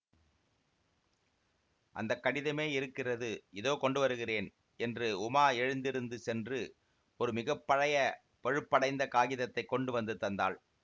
அந்த கடிதமே இருக்கிறது இதோ கொண்டு வருகிறேன் என்று உமா எழுந்திருந்து சென்று ஒரு மிக பழைய பழுப்படைந்த காகிதத்தைக் கொண்டு வந்து தந்தாள்